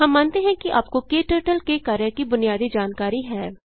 हम मानते हैं कि आपको क्टर्टल के कार्य की बुनियादी जानकारी है